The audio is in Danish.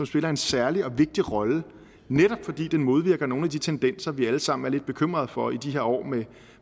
spiller en særlig og vigtig rolle netop fordi den modvirker nogle af de tendenser vi alle sammen er lidt bekymrede for i de her år med